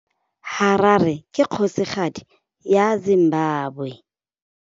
Harare ke kgosigadi ya Zimbabwe.